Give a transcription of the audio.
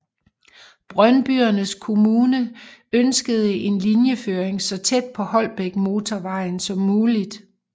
Brøndbyernes Kommune ønskede en linjeføring så tæt på Holbækmotorvejen som muligt